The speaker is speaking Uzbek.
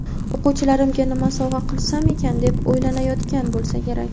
o‘quvchilarimga nima sovg‘a qilsam ekan deb o‘ylanayotgan bo‘lsa kerak.